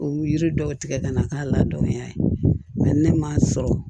U yiri dɔw tigɛ ka na k'a ladɔnniya nka ne m'a sɔrɔ